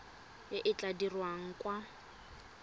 e e tla dirwang kwa